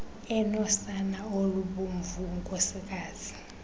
enosana olubomvu unkosikazi